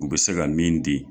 U bɛ se ka min di.